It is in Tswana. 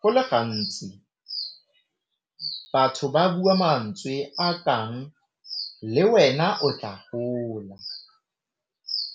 Go le gantsi batho ba bua mantswe a kang le wena o tla gola